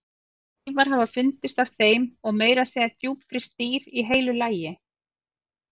Ótal leifar hafa fundist af þeim og meira að segja djúpfryst dýr í heilu lagi.